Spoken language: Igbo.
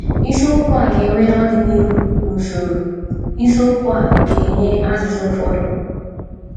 Isiokwu a ga - enwe n’ọdịnihu n’usoro isiokwu a ga - enye azịza ụfọdụ.